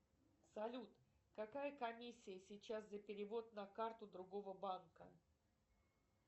салют какая комиссия сейчас за перевод на карту другого банка